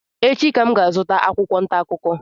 Echi ka m ga-azụta akwụkwọ ntaakụkọ